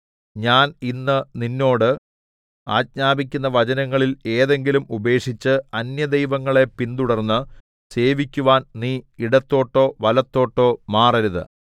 ഞാൻ ഇന്ന് നിന്നോട് ആജ്ഞാപിക്കുന്ന വചനങ്ങളിൽ ഏതെങ്കിലും ഉപേക്ഷിച്ച് അന്യദൈവങ്ങളെ പിന്തുടർന്ന് സേവിക്കുവാൻ നീ ഇടത്തോട്ടോ വലത്തോട്ടോ മാറരുത്